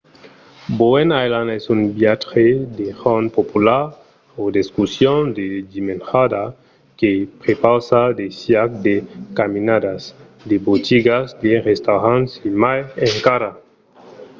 bowen island es un viatge d'un jorn popular o d'excursion de dimenjada que prepausa de caiac de caminadas de botigas de restaurants e mai encara